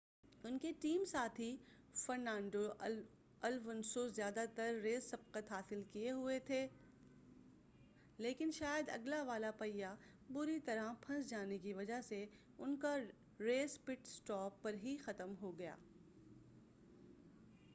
ان کے ٹیم ساتھی Fernando Alonso زیادہ تر ریس سبقت حاصل کیے ہوئے تھے لیکن شاید آگے والا پہیہ بری طرح پھنس جانے کی وجہ سے ان کا ریس پٹ-سٹاپ پر ہی ختم ہوگیا